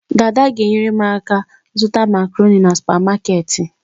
Daada g'enyere m aka zuta macaroni na supamaketi